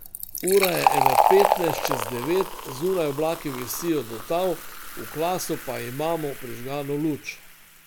Ura je ene petnajst čez devet, zunaj oblaki visijo do tal, v klasu pa imamo prižgano luč.